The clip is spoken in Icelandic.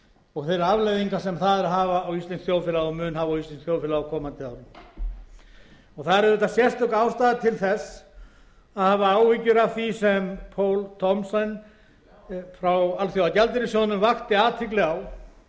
og þeirra afleiðinga sem þær hafa á íslenskt þjóðfélag og mun hafa á íslenskt þjóðfélag á komandi árum það er auvðtiað sérstök ástæða til þess að hafa áhyggjum af því sem poul thomsen frá alþjóðagjaldeyrissjóðnum vakti athygli á